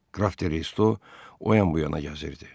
Qraf Redo o yan bu yana gəzirdi.